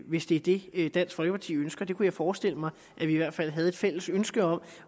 hvis det er det dansk folkeparti ønsker det kunne jeg forestille mig at vi i hvert fald havde et fælles ønske om